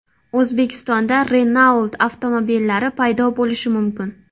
O‘zbekistonda Renault avtomobillari paydo bo‘lishi mumkin .